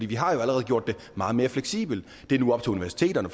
vi har jo allerede gjort det meget mere fleksibelt nu op til universiteterne